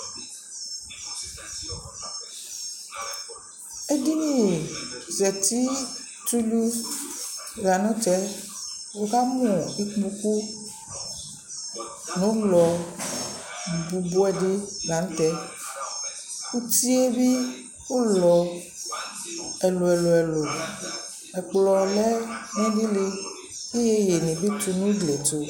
Edini zati tʋlu la n'tɛ Nɩkamʋ ikpoku ŋʋ ʋlɔ bʋbʋɛdɩ la n'tɛ uti yɛ bɩ ʋlɔ ɛlʋ ɛlʋ, ɛkplɔ lɛ n'ɩdɩlɩ k'ɩyeyenɩ bɩ tʋ nʋ du tʋ